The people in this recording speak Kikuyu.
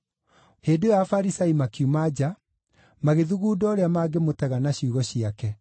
Hĩndĩ ĩyo Afarisai makiuma nja, magĩthugunda ũrĩa mangĩmũtega na ciugo ciake.